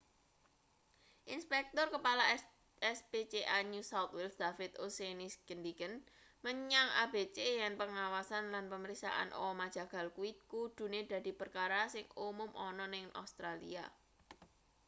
inspektur kepala rspca new south wales david o'shannessyngendikan menyang abc yen pengawasan lan pemeriksaan omah jagal kuwi kudune dadi perkara sing umum ana ning australia